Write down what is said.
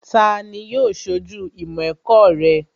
Tani yóò ṣojú ìmọ̀ ẹ̀kọ́ rẹ?